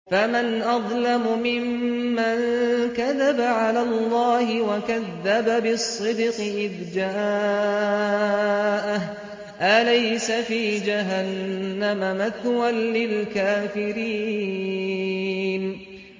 ۞ فَمَنْ أَظْلَمُ مِمَّن كَذَبَ عَلَى اللَّهِ وَكَذَّبَ بِالصِّدْقِ إِذْ جَاءَهُ ۚ أَلَيْسَ فِي جَهَنَّمَ مَثْوًى لِّلْكَافِرِينَ